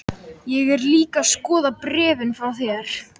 Ég er líka að skoða bréfin frá þér.